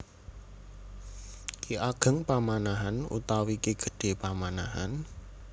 Ki Ageng Pamanahan utawi Ki Gedhé Pamanahan